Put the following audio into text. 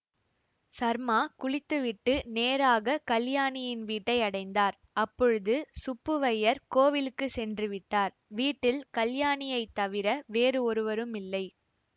சர்மா குளித்துவிட்டு நேராக கலியாணியின் வீட்டையடைந்தார் அப்பொழுது சுப்புவையர் கோவிலுக்கு சென்றுவிட்டார் வீட்டில் கல்யாணியைத் தவிர வேறு ஒருவருமில்லை